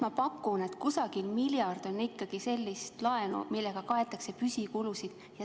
Ma pakun, et umbes miljard on ikkagi sellist laenu, millega kaetakse püsikulusid.